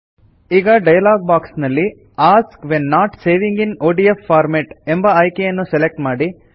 ಈಗ dialog box ನಲ್ಲಿ ask when not saving in ODF format ಎಂಬ ಆಯ್ಕೆಯನ್ನು ಸೆಲೆಕ್ಟ್ ಮಾಡಿ